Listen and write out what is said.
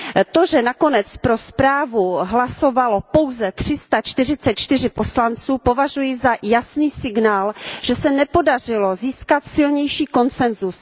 To, že nakonec pro zprávu hlasovalo pouze tři sta čtyřicet čtyři poslanců, považuji za jasný signál, že se nepodařilo získat silnější konsensus.